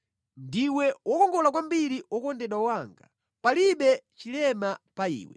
Ndiwe wokongola kwambiri wokondedwa wanga; palibe chilema pa iwe.